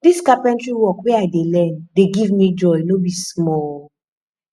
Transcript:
dis carpentry work wey i dey learn dey give me joy no be small